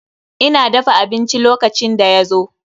Ina dafa abinci lokacin da ya zo.